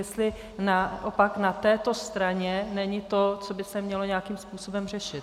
Jestli naopak na této straně není to, co by se mělo nějakým způsobem řešit.